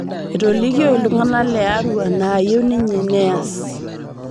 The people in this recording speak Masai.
Etolikio ltung'ana le Arua naayieu ninye nees